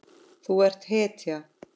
Þú ert hetja.